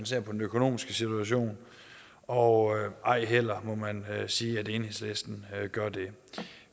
ser på den økonomiske situation og ej heller må man sige at enhedslistens gør det